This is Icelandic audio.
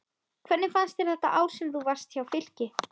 Hvernig fannst þér þetta ár sem þú varst hjá Fylki?